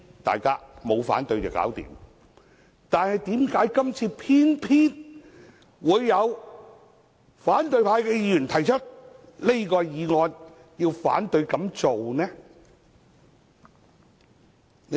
但是，為何今次偏偏會有反對派議員提出這項議案，反對給予許可？